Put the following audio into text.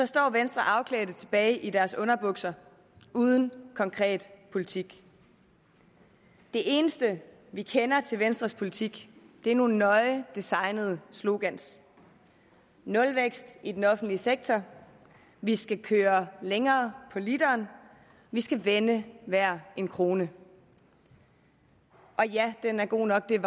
står venstre afklædte tilbage i deres underbukser uden konkret politik det eneste vi kender til venstres politik er nogle nøje designede slogans nulvækst i den offentlige sektor vi skal køre længere på literen vi skal vende hver en krone og ja den er god nok det er